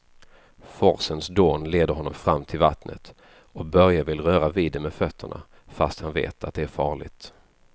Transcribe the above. Forsens dån leder honom fram till vattnet och Börje vill röra vid det med fötterna, fast han vet att det är farligt.